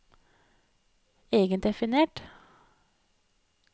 egendefinert